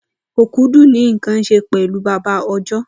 Okudu ni nkan ṣe pẹlu baba ọjọ